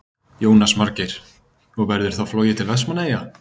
Jónas Margeir: Og verður þá flogið til Vestmannaeyja?